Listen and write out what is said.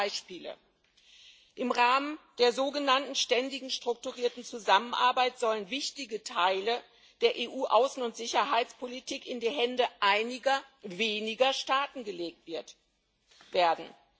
Einige Beispiele Im Rahmen der sogenannten Ständigen Strukturierten Zusammenarbeit sollen wichtige Teile der EU Außen und Sicherheitspolitik in die Hände einiger weniger Staaten gelegt werden.